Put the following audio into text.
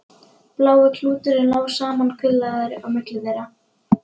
Blái klúturinn lá samankuðlaður á milli þeirra.